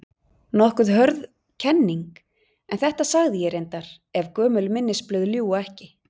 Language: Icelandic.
Nokkuð hörð kenning, en þetta sagði ég reyndar- ef gömul minnisblöð ljúga ekki.